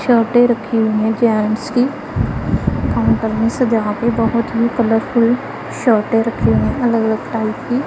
शर्टे रखी हुई हैं जेंट्स की अंदर में सजाके बहोत ही कलरफुल शर्टे रखी हुई अलग अलग टाइप की--